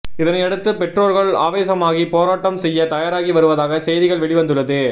இதனையடுத்து பெற்றோர்கள் ஆவேசமாகி போராட்டம் செய்ய தயாராகி வருவதாக செய்திகள் வெளிவந்துள்ளது